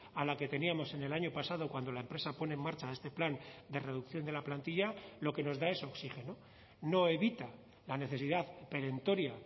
a la que teníamos en el año pasado cuando la empresa pone en marcha este plan de reducción de la plantilla lo que nos da es oxígeno no evita la necesidad perentoria